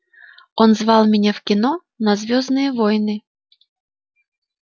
он звал меня в кино на звёздные войны